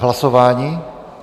K hlasování?